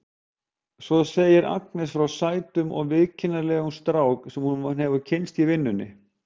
Svo segir Agnes frá sætum og viðkunnanlegum strák sem hún hefur kynnst í vinnunni.